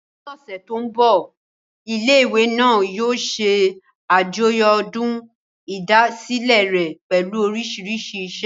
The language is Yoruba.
Ní ọ̀sẹ̀ tó mbọ̀, ilé ìwé náà yóò ṣe àjọyọ̀ ọdún ìdásílẹ̀ rẹ̀ pẹ̀lú oríṣiríṣi iṣẹ́